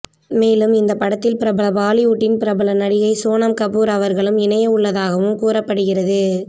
மேலும் இந்த படத்தில் பிரபல பாலிவுட்டின் பிரபல நடிகை சோனம் கபூர் அவர்களும் இணையவுள்ளதாகவும் கூறப்படுகிறது